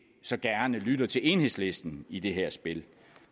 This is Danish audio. så gerne lytter til enhedslisten i det her spil